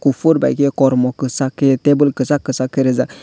kopor bai ke kormo kisak kei tebil kisak kisak rijak.